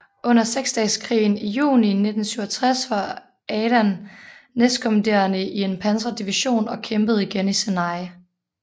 Under Seksdageskrigen i juni 1967 var Adan næstkommanderende i en pansret division og kæmpede igen i Sinai